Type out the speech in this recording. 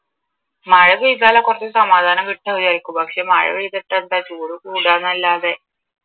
മഴ പെയ്താലാ കുറച്ചു സമാധാനം കിട്ടുന്നതെന്ന് വിചാരിക്കും പക്ഷെ മഴ പെയ്തിട്ടെന്താ ചൂട് കൂടുക എന്നല്ലാതെ